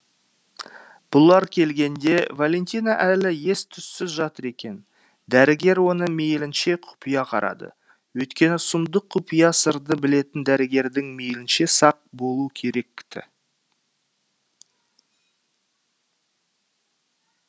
бұлар келгенде валентина әлі ес түссіз жатыр екен дәрігер оны мейлінше құпия қарады өйткені сұмдық құпия сырды білетін дәрігердің мейлінше сақ болуы керек ті